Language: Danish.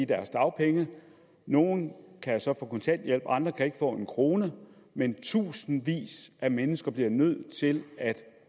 deres dagpenge nogle kan så få kontanthjælp og andre kan ikke få en krone men tusindvis af mennesker bliver nødt til at